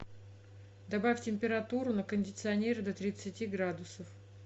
добавь температуру на кондиционере до тридцати градусов